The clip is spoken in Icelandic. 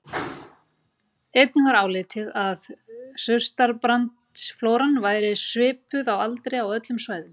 Einnig var álitið að surtarbrandsflóran væri svipuð að aldri á öllum svæðunum.